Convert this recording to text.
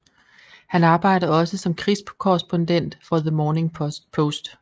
Han arbejdede også som krigskorrespondent for the Morning Post